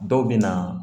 Dɔw bɛ na